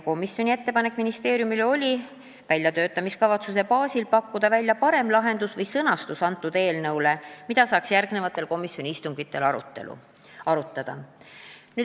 Komisjoni ettepanek ministeeriumile oli pakkuda väljatöötamiskavatsuse baasil välja parem lahendus või eelnõu sõnastus, mida saaks järgmistel komisjoni istungitel arutada.